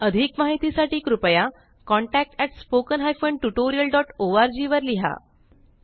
अधिक माहितीसाठी कृपया contactspoken tutorialorg वर लिहा